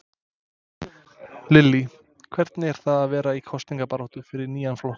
Lillý: Hvernig er það vera í kosningabaráttu fyrir nýjan flokk?